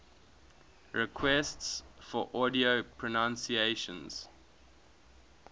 requests for audio pronunciation